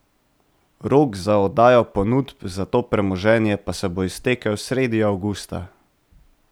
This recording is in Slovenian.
Rok za oddajo ponudb za to premoženje pa se bo iztekel sredi avgusta.